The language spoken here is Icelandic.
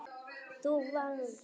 Þú vannst.